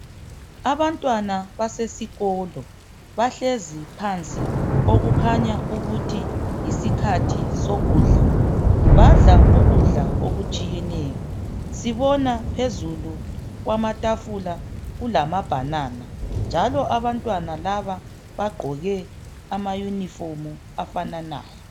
Abantwana basesikolo bahlezi phansi okukhanya ukuthi yisikhathi sokudla badla ukudla okutshiyeneyo sibona phezulu kwamatafula kulama bhanana. Njalo abantwana laba bagqoke ama yunifomu afananayo.